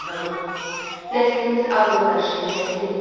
Nəslimiz adını daşıyır Həzi.